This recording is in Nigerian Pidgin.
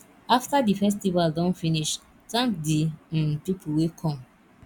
after di festival don finish thank di um pipo wey come